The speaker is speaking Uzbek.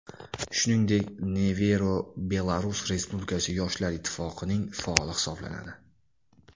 Shuningdek, Nevero Belarus Respublikasi yoshlar ittifoqining faoli hisoblanadi.